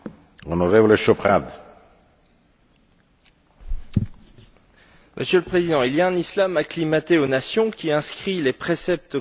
Monsieur le Président, il y a un islam acclimaté aux nations, qui inscrit les préceptes coraniques dans les cultures nationales et qui accepte que la loi des États soit supérieure à la charia.